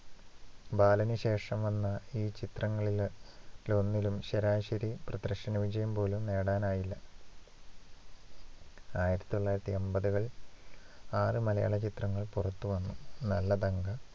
ബാലനു ശേഷം വന്ന ഈ ചിത്രങ്ങളിലൊന്നിനും ശരാശരി പ്രദർശനവിജയം പോലും നേടാനായില്ല ആയിരത്തി തൊള്ളായിരത്തി അമ്പതുകള്‍ ആറ് മലയാള ചിത്രങ്ങൾ പുറത്ത് വന്നു നല്ലതങ്ക